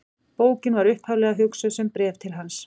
Bókin var upphaflega hugsuð sem bréf til hans.